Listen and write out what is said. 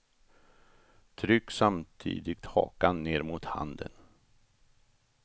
Tryck samtidigt hakan ner mot handen.